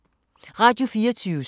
Radio24syv